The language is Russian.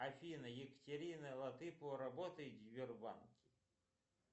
афина екатерина латыпова работает в сбербанке